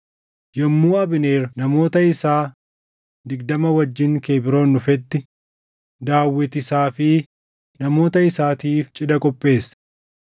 Yommuu Abneer namoota isaa digdama wajjin Kebroon dhufetti, Daawit isaa fi namoota isaatiif cidha qopheesse.